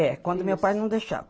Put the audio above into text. É, quando meu pai não deixava.